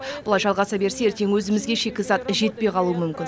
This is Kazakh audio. бұлай жалғаса берсе ертең өзімізге шикізат жетпей қалуы мүмкін